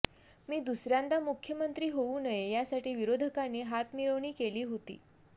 मी दुसऱ्यांदा मुख्यमंत्री होऊ नये यासाठी विरोधकांनी हातमिळवणी केली होती